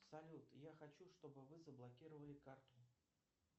салют я хочу чтобы вы заблокировали карту